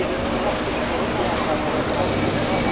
Ay maşın.